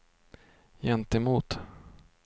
gentemot